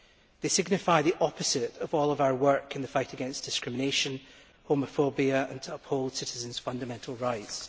It signifies the opposite of all of our work in the fight against discrimination and homophobia and to uphold citizens' fundamental rights.